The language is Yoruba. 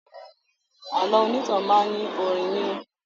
Àlọ́ onítàn máa ní orin nínú